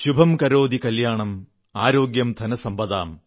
ശുഭം കരോതി കല്യാണം ആരോഗ്യം ധനസമ്പദാം